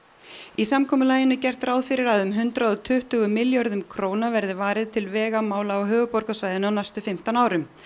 í samkomulaginu er gert ráð fyrir að um hundrað og tuttugu milljörðum króna verði varið til vegamála á höfuðborgarsvæðinu á næstu fimmtán árum